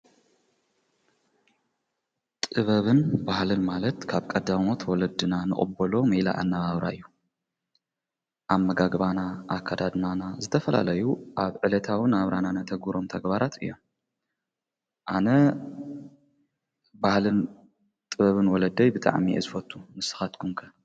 ጥበብን ባህልን ማለት ካብ ቀዳሞት ወለድና ንቅቦሎ ሜላ ኣነባብራ እዩ። ኣመጋግባና፣ ኣካዳድናና ዝተፈላለዩ ኣብ ዕለታውን ናብራናን ነተግብሮም ተግባራት እዮም። ኣነ ባህልን ጥበብን ወለደይ ብጥዕሚ እየ ዝፈቱ ንስኻትኩም ከ?